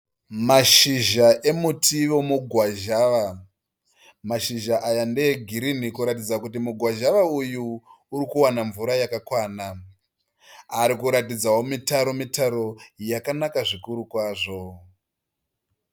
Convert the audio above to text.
Mashizha emuti wemugwazhawa. Mashizha aya ndeegirinhi kuratidza kuti mugwazhawa uyu uri kuwana mvura yakakwana. Ari kuratidzawo mitaro mitaro yakanaka zvikuru kwazvo.